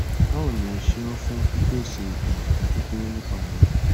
bawo ni o seun fun pipese itan itan kekere nipa re